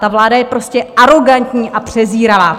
Ta vláda je prostě arogantní a přezíravá.